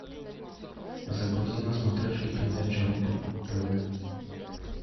загрузи на смотрешке передачу рубль тв